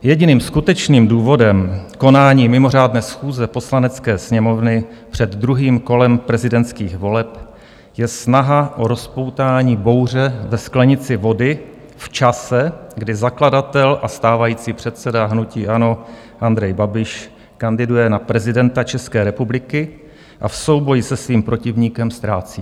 Jediným skutečným důvodem konání mimořádné schůze Poslanecké sněmovny před druhým kolem prezidentských voleb je snaha o rozpoutání bouře ve sklenici vody v čase, kdy zakladatel a stávající předseda hnutí ANO Andrej Babiš kandiduje na prezidenta České republiky a v souboji se svým protivníkem ztrácí.